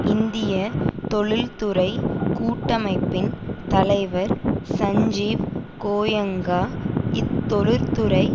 இந்திய தொழில்துறைக் கூட்டமைப்பின் தலைவர் சஞ்சீவ் கோயங்கா இத்தொழில்துறை